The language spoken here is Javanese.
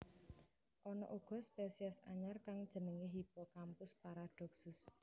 Ana uga spesies anyar kang jenengé Hippocampus paradoxus